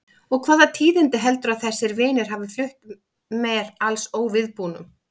Og hvaða tíðindi heldurðu að þessir vinir hafi flutt mér alls óviðbúnum?